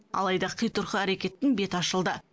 алайда қитұрқы әрекеттің беті ашылды